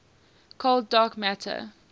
cold dark matter